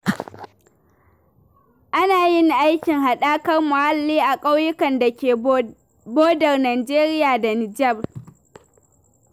Ana yin aikin haɗakar muhalli a ƙauyukan dake bodar Nijeriya da Nijar.